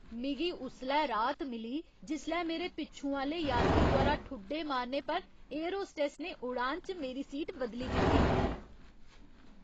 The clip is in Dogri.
मिगी उसलै राह्त मिली जिसलै मेरे पिच्छूं आह्ले यात्री द्वारा ठुड्डे मारने पर एयर होस्टस ने उड़ान च मेरी सीट बदली दित्ती।